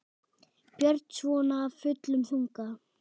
Björn: Svona af fullum þunga?